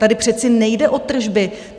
Tady přece nejde o tržby.